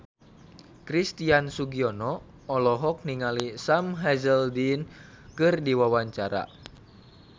Christian Sugiono olohok ningali Sam Hazeldine keur diwawancara